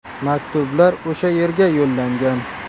Maktublar o‘sha yerga yo‘llangan.